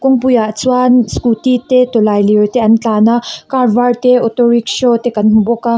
kawngpuiah chuan scooty te tawlailir te an tlân a car vâr te auto rickshaw te kan hmu bawk a.